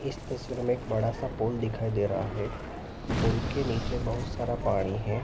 इस तस्वीर में एक बड़ा सा पोल दिखाई दे रहा है। पोल के नीचे बहुत सारा पाणी है।